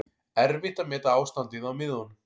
Erfitt að meta ástandið á miðunum